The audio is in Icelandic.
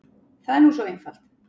Það er nú svo einfalt.